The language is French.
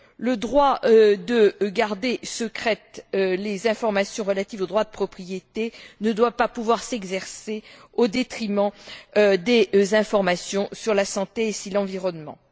Le droit de garder secrètes les informations relatives au droit de propriété ne doit pas pouvoir s'exercer au détriment des informations sur la santé et sur l'environnement.